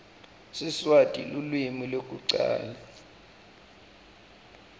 siswati lulwimi lwekucala